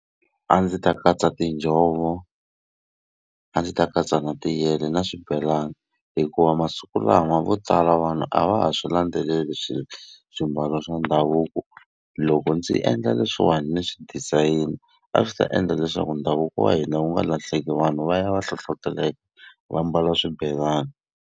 A ndzi ta katsa tinjhovo, a ndzi ta katsa na tiyele na swibelani. Hikuva masiku lawa vo tala vanhu a va ha swi landzeleli swimbalo swa ndhavuko. Loko ndzi endla leswiwani swi design, a swi ta endla leswaku ndhavuko wa hina wu nga lahleki vanhu va ya va hlohleteleka va mbala swibelani.